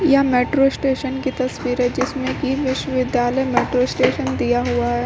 यह metro station की तस्वीर जिसमें कि विश्वविद्यालय मेट्रो स्टेशन दिया हुआ है।